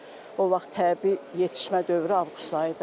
çünki o vaxt təbii yetişmə dövrü avqust ayıdır.